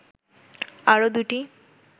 আরো দুটি